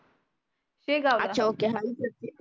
शेगावला